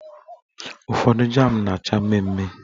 Ụfọdụ jam na-acha mmemme.